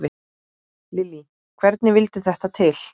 Lillý: Hvernig vildi þetta til?